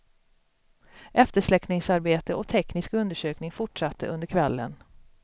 Eftersläckningsarbete och teknisk undersökning fortsatte under kvällen.